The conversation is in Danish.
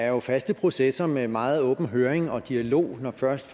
er faste processer med meget åben høring og dialog når først